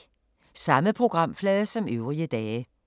Samme programflade som øvrige dage